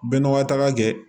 Bɛɛ n'a ka taga kɛ